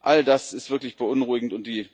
all das ist wirklich beunruhigend.